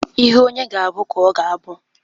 Ihe onye ga-abụ ka ọ ga-abụ.